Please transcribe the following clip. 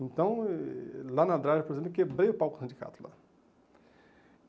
Então, eh lá na Adraia, por exemplo, quebrei o palco do sindicato lá.